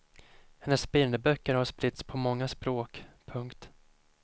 Hennes bilderböcker har spritts på många språk. punkt